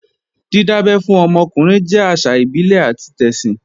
Dídábẹ́ fún ọmọ ọkùnrin jẹ́ àṣà ìbílẹ̀ àti tẹ̀sìn